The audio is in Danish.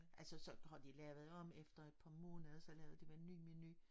Altså så har de lavet om efter et par måneder så lavede de en ny menu